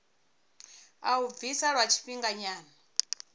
a u bvisa lwa tshifhinganyana